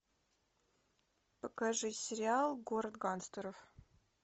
покажи сериал город гангстеров